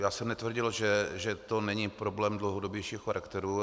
Já jsem netvrdil, že to není problém dlouhodobějšího charakteru.